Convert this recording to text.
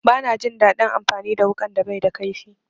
Bana jin daɗin amfani da wuƙan da baida kaifi.